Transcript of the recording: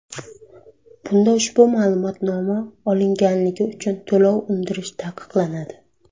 Bunda ushbu ma’lumotnoma olinganligi uchun to‘lov undirish taqiqlanadi.